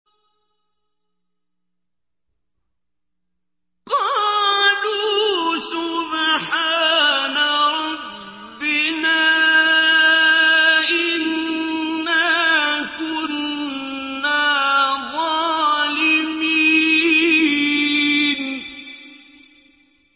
قَالُوا سُبْحَانَ رَبِّنَا إِنَّا كُنَّا ظَالِمِينَ